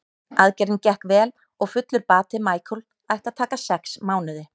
Aðgerðin gekk vel og fullur bati Michael ætti að taka sex mánuði.